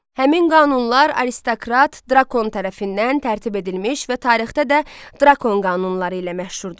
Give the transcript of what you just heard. Həmin qanunlar aristokrat Drakon tərəfindən tərtib edilmiş və tarixdə də Drakon qanunları ilə məşhurdur.